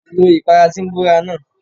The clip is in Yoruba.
Lo ìpara tí ń bóra náà.!